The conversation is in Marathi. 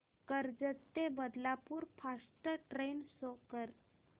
कर्जत ते बदलापूर फास्ट ट्रेन शो कर